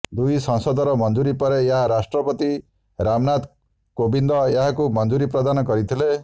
ଦୁଇ ସଂସଦର ମଂଜୁରୀ ପରେ ଏହା ରାଷ୍ଟ୍ରପତି ରାମନାଥ କୋବିନ୍ଦ ଏହାକୁ ମଞ୍ଜୁରୀପ୍ରଦାନ କରିଥିଲେ